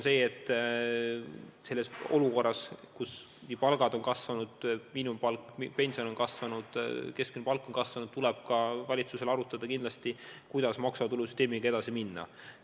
Selles olukorras, kus sissetulekud on kasvanud – miinimumpalk, pension ja keskmine palk on kasvanud –, tuleb valitsusel arutada, kuidas maksuvaba tulu süsteemiga edasi minna.